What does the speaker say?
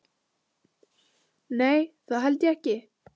Nei, það held ég ekki.